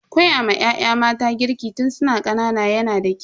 Koyawa ya'ya mata girki tun su na ƙanana yana da kyau.